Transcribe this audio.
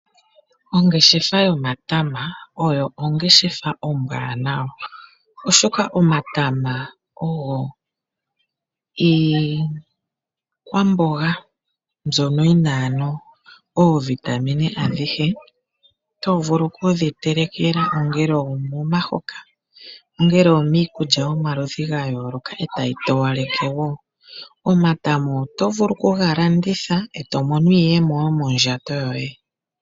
Ongeshefa yomatama oyo ongeshefa ombwanawa, oshoka omatama ogo iikwamboga mbyono yi na oovitamine adhihe, to vulu okudhitelekela momahoka, miikulya yomaludhi ga yooloka e tayi towaleke mo wo. Omatama oto vulu okuga landitha, e to mono iiyemo yomondjato yoye.